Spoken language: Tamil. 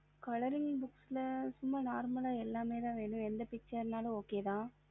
colouring books லசும்மா normal எல்லாமேத இருக்கு எதுவா இருந்தாலும் okay வ